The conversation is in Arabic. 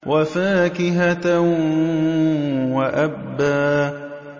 وَفَاكِهَةً وَأَبًّا